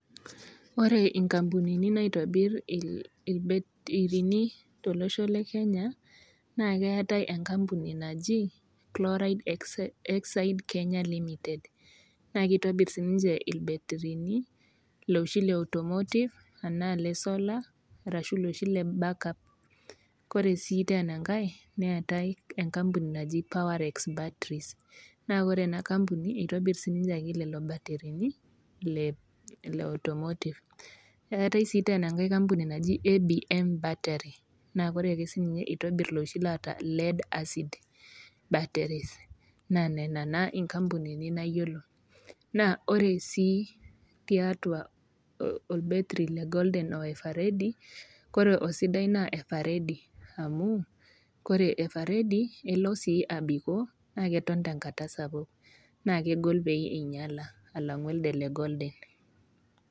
Ore inkampunini naitobir ilbetirini tolosho le Kenya naa keatai nkapuni naji Chloride exide Kenya Limited. naa keitobir sii ninche ilbetirini loshi le automotive, anaa le sola, arashu looshi le backup. Kore sii teena enkai neatai enkapuni naji Powerex Batteries naa ore ena kampuni naa keitobir ake sii niche lelo ilbetirini le automotive. Eatai sii teena enkai kampuni naji ABM battery naa ore sii ninche keitobir loshii laata lead-acid baterries, naa nena naa inkampunini nayiolo. Naa ore sii tiatua olbetiri le Golden o Everedy ore osidai naa everedy, amu ore everedy naa kelo sii aabikoo naa keton tenkata sapuk naa kegol sii pee einyala alang'u elde le Golden.